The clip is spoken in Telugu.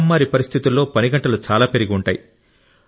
మహమ్మారి పరిస్థితులలో పని గంటలు చాలా పెరిగి ఉంటాయి